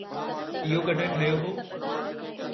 इहो कड॒हिं ठहियो हो?